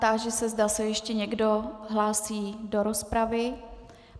Táži se, zda se ještě někdo hlásí do rozpravy.